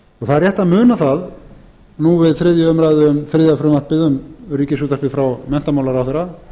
það er rétt að muna það nú við þriðju umræðu um þriðja frumvarpið um ríkisútvarpið frá menntamálaráðherra